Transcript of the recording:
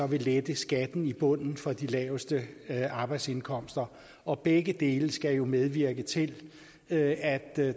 vil lette skatten i bunden for de laveste arbejdsindkomster og begge dele skal jo medvirke til at